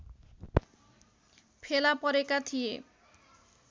फेला परेका थिए